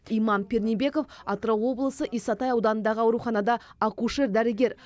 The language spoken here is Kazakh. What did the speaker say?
иман пернебеков атырау облысы исатай ауданындағы ауруханада акушер дәрігер